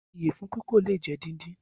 Iyẹfun pípò le jẹ díndín.